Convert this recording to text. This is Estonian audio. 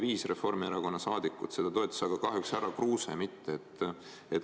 Viis Reformierakonna saadikut seda toetas, aga kahjuks härra Kruuse mitte.